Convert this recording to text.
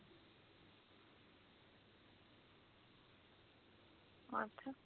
ਅੱਛਾ